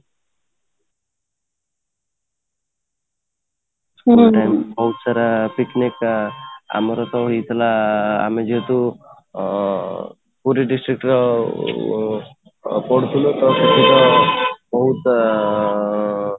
ବହୁତ ସାରା picnic ଆମର କ'ଣ ହଉହେଇଥିଲା ଆଁ ଆମର ଯେହେତୁ ଅଂ ପୁରୀ district ର ଓଁ ପଢୁଥିଲେ ତ ସେଥିପାଇଁ ବହୁତ ଅଂ